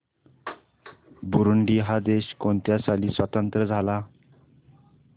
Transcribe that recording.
Burundi हा देश कोणत्या साली स्वातंत्र्य झाला